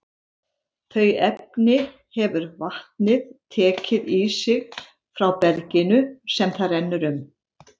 Þau efni hefur vatnið tekið í sig frá berginu sem það rennur um.